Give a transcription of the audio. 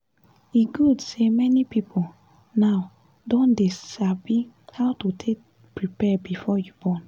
e good say many people now don dey dey sabi how to take dey prepare before you born